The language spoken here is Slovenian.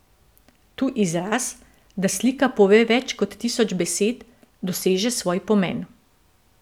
Tu izraz, da slika pove več kot tisoč besed, doseže svoj pomen.